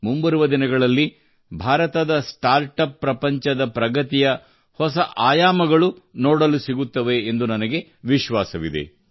ಮುಂಬರುವ ದಿನಗಳಲ್ಲಿ ಭಾರತದ ಸ್ಟಾರ್ಟಪ್ ಪ್ರಪಂಚದಲ್ಲಿ ಪ್ರಗತಿಯ ಹೊಸ ಆಯಾಮಗಳು ನೋಡಲು ಸಿಗುತ್ತವೆ ಎಂದು ನನಗೆ ವಿಶ್ವಾಸವಿದೆ